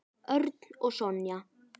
Örn og Sonja.